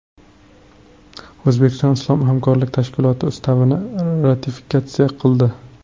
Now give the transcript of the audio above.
O‘zbekiston Islom hamkorlik tashkiloti Ustavini ratifikatsiya qildi.